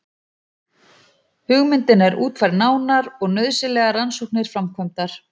Hugmyndin er útfærð nánar og nauðsynlegar rannsóknir framkvæmdar.